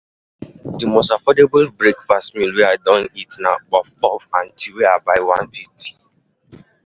Di most affordable breakfast meal wey i don eat na puff-puff and tea wey i buy #150.